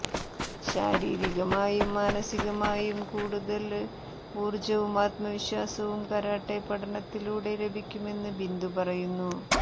ശാരീരികമായും മാനസികമായും കൂടുതല് ഊര്ജ്ജവും ആത്മവിശ്വാസവും കരാട്ടെ പഠനത്തിലൂടെ ലഭിക്കുമെന്ന് ബിന്ദു പറയുന്നു